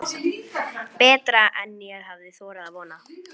Betra en ég hafði þorað að vona